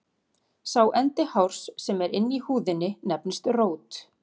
Sá endi hárs sem er inni í húðinni nefnist rót.